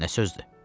Nə sözdür?